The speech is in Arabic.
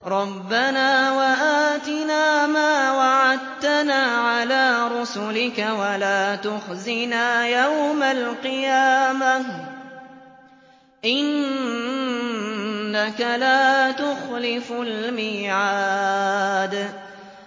رَبَّنَا وَآتِنَا مَا وَعَدتَّنَا عَلَىٰ رُسُلِكَ وَلَا تُخْزِنَا يَوْمَ الْقِيَامَةِ ۗ إِنَّكَ لَا تُخْلِفُ الْمِيعَادَ